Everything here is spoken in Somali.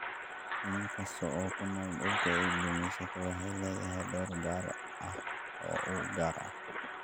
Shinni kasta oo ku nool dhulka ay gumaysato waxay leedahay door gaar ah oo u gaar ah.